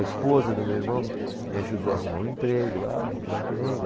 A esposa do meu irmão me ajudou a arrumar um emprego lá, arrumei emprego.